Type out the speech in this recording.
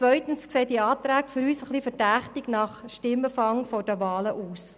Zweitens sehen diese Anträge für uns verdächtig nach Stimmenfang vor den Wahlen aus.